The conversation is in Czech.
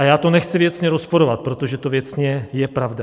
A já to nechci věcně rozporovat, protože to věcně je pravda.